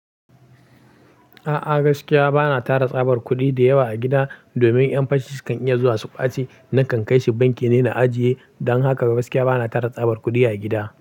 A'a, gaskiya ba na tara tsabar kuɗi da yawa a gida domin ƴan fashi su kan iya zuwa su ƙwace nan kan kai shi banki ne na ajiye. Dan haka gaskiya ba na tara tsabar kuɗi a gida.